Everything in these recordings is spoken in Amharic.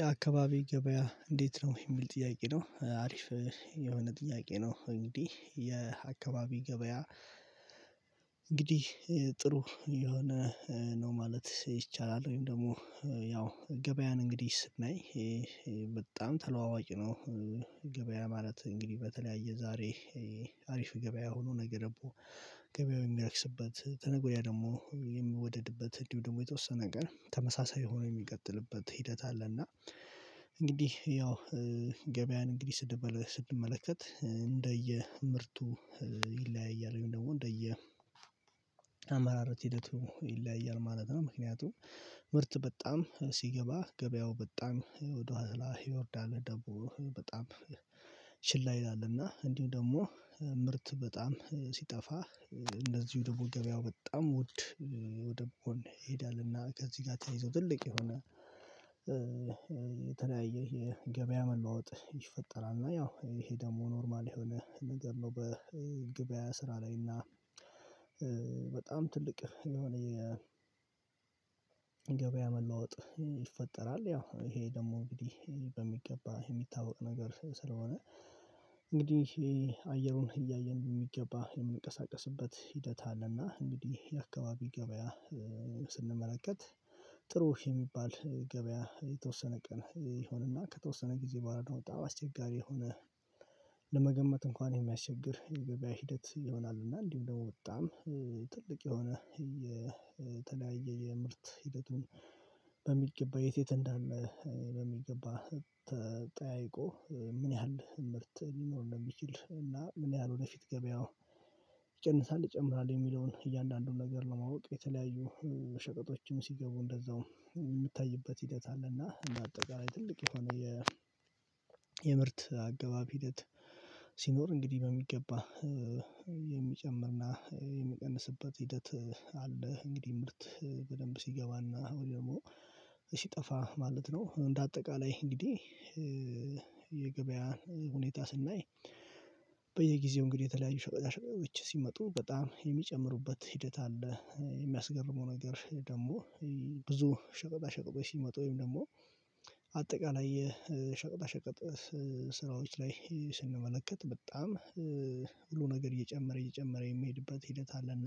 የአካባቢ ገበያ እንዴት ነው የሚል ጥያቄ ነው አሪፍ የሆነ ጥያቄ ነው። እንግዲህ የአካባቢ ገበያ። እንግዲህ ጥሩ የሆነ ነው ማለት ይቻላል። ወይም ደግሞ ያው ገበያን እንግዲህ ስናይ በጣም ተለዋዋጭ ነው። ገበያ ማለት እንግዲህ በተለያየ ዛሬ አሪፍ ገበያ ሆኖ ነገ ደግሞ ገበያው የሚረክስበት ከነገ ወዲያ ደግሞ የሚወደድበት እንዲሁ ደግሞ የተወሰነ ነገር ተመሳሳይ ሆኖ የሚቀጥልበት ሂደት አለ። እና አለና እንግዲህ ያው ገበያን እንግዲህ ስንመለከት እንደየ ምርቱ ይለያያል ወይም ደግሞ እንደየ አመራረት ሂደቱ ይለያያል ማለት ነው። ምክንያቱም ምርት በጣም ሲገባ ገበያው በጣም ወደ ኋላ ይወርዳል። ደግሞ በጣም ችላ ይላልና እንዲሁ ደግሞ ምርት በጣም ሲጠፋ እንደዚሁ ደግሞ ገበያው በጣም ውድ ወደሆነ በኩል ይሄዳልና። ከዚህ ጋር ተያይዞ ትልቅ የሆነ የገበያ መለዋወጥ ይፈጠራል። እና ያው ይሄ ደግሞ ኖርማል የሆነ ነገር ነው። በገበያ ስራ ላይ እና በጣም ትልቅ የሆነ የገበያ መለወጥ ይፈጠራል። ያው ይሄ ደግሞ እንግዲህ በሚገባ የሚታወቅ ነገር ስለሆነ እንግዲህ ይሄ አየሩን እያየን በሚገባ የምንቀሳቀስበት ሂደት አለና እንግዲህ የአካባቢ ገበያ ስንመለከት ጥሩ የሚባል ገበያ የተወሰነ ቀን የሆነና ከተወሰነ ጊዜ ባለው አወጣ አስቸጋሪ የሆነ ለመገመት እንኳን የሚያስቸግር የገበያ ሂደት ይሆናል። እና እንዲሁም ደግሞ በጣም ትልቅ የሆነ የተለያየ የምርት ሂደቱን በሚገባ የት የት እንዳለ በሚገባ ተጠያይቆ ምን ያህል ምርት ሊኖር እንደሚችል እና ምን ያህል ወደፊት ገበያው ይቀንሳል ይጨምራል የሚለውን ነገር ለማወቅ የተለያዩ ሸቀጦችም ሲገቡ እንደዛውም የምታይበት ሂደት አለና። እና አጠቃላይ ትልቅ የሆነ የ የምርት አገባብ ሂደት ሲኖር እንግዲህ በሚገባ የሚጨምርና የሚቀንስበት ሂደት አለ። እንግዲህ ምርት በደንብ ሲገባና ወይ ደግሞ ሲጠፋ ማለት ነው። እንደ አጠቃላይ እንግዲህ የገበያ ሁኔታ ስናይ በየጊዜው እንግዲህ የተለያዩ ሸቀጣ ሸቀጦች ሲመጡ በጣም የሚጨምሩበት ሂደት አለ። የሚያስገርመው ነገር ደግሞ ብዙ ሸቀጣ ሸቀጎ ሲመጡ ወይም ደግሞ ሸቀጣ ሸቀጥ ስራዎች ላይ ስንመለከት በጣም ሁሉ ነገር እየጨመረ እየጨመረ የምሄድበት ሂደት አለና።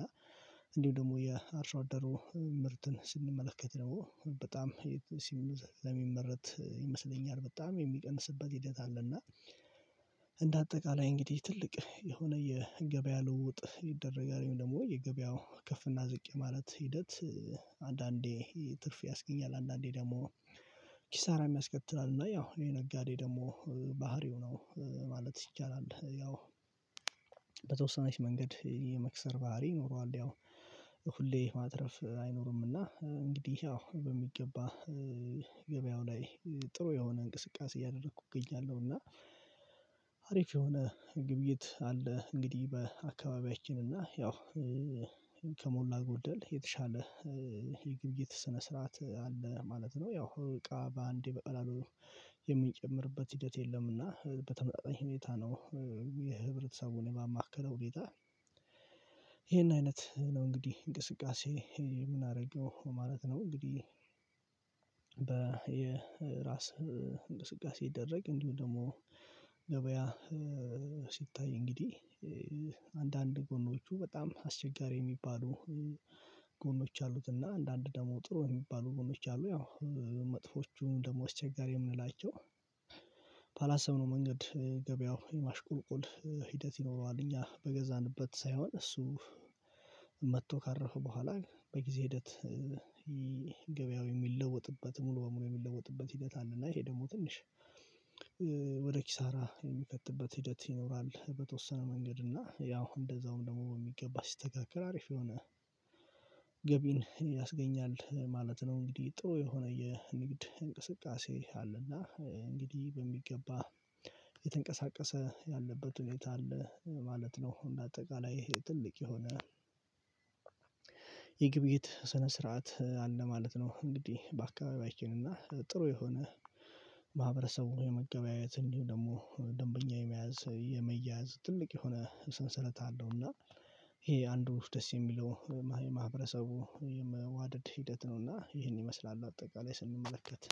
እንዲሁ ደግሞ የአርሶ አደሩ ምርትን ስንመለከት ደግሞ በጣም ለሚመረት ይመስለኛል በጣም የሚቀንስበት ሂደት አለና። እንደ አጠቃላይ እንግዲህ ትልቅ የሆነ የገበያ ልውጥ ይደረጋል ወይም ደግሞ የገበያው ከፍና ዝቅ የማለት ሂደት። አንዳንዴ ትርፍ ያስገኛል አንዳንዴ ደግሞ ኪሳራም ያስከትላል። እና ያው ይሄ ነጋዴ ደግሞ ባህሪው ነው ማለት ይቻላል። ያው መንገድ የመክሰር ባህሪ ይኖረዋል። ያው ሁሌ ማትረፍ አይኖርምና እንግዲህ ያው በሚገባ ገበያው ላይ ጥሩ የሆነ እንቅስቃሴ እያደረኩ እገኛለሁ። እና አሪፍ የሆነ ግብይት አለ። እንግዲህ በአካባቢያችን እና ያው ጎደል የተሻለ የግብይት ስነ ስርዓት አለ ማለት ነው። ያው እቃ በአንዴ በቃላሉ በቀላሉ የምንጨምርበት ሂደት የለምና በተመሳሳይ ሁኔታ ነው። የህብረተሰቡን ባማከለ ሁኔታ ይሄን አይነት ነው እንግዲህ እንቅስቃሴ። ምን አደረገው ማለት ነው? እንግዲህ በ የራስ እንቅስቃሴ ይደረቅ እንዲሁ ደግሞ ሲታይ እንግዲህ አንዳንድ ጎኖቹ በጣም አስቸጋሪ የሚባሉ ጎኖች አሉት። እና አንዳንድ ደግሞ ጥሩ የሚባሉ ጎኖች አሉ። ያው መጥፎቹ ደግሞ አስቸጋሪ የምንላቸው ባላሰብነው መንገድ ገበያው የማሽቆልቆል ሂደት ይኖረዋል። እኛ በገዛንበት ሳይሆን እሱ መጥቶ ካረፈ በኋላ በጊዜ ሂደት ገበያው የሚለወጥበት ሙሉ በሙሉ የሚለወጥበት ሂደት አለ። እና ይሄ ደግሞ ትንሽ ወደ ኪሳራ የሚከትበት ሂደት ይኖራል። በተወሰነ መንገድ እና ያው እንደዛውም ደግሞ በሚገባ ሲስተካከል አሪፍ የሆነ ገቢን ያስገኛል ማለት ነው። እንግዲህ ጥሩ የሆነ የንግድ እንቅስቃሴ አለና እንግዲህ በሚገባ የተንቀሳቀሰ ያለበት ሁኔታ አለ። ማለት ነው። እና አጠቃላይ ይሄ ትልቅ የሆነ የግብይት ስነ ስርዓት አለ ማለት ነው። እንግዲህ በአካባቢያችን እና ጥሩ የሆነ ማህበረሰቡ የመገበያየት እንዲሁም ደግሞ ደንበኛ የመያዝ ሰው የመያዝ ትልቅ የሆነ ሰንሰለት አለው። እና ይሄ አንዱ ደስ የሚለው የማህበረሰቡ የመዋደድ ሂደት ነውና ይሄን ይመስላል አጠቃላይ ስንመለከት